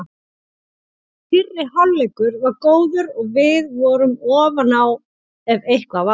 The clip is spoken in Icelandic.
Fyrri hálfleikur var góður og við vorum ofan á ef eitthvað var.